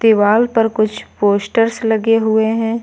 दीवाल पर कुछ पोस्टर्स लगे हुए हैं।